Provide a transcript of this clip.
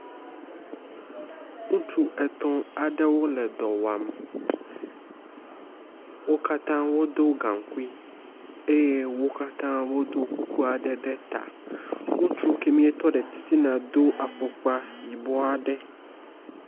ŋutsu etɔ̃ aɖewo le dɔwam wókatã wodó gaŋkui eye wókatã wodó kukuaɖe ɖe ta ŋutsu kɛmi tɔɖe titina dó afɔkpa yibɔaɖe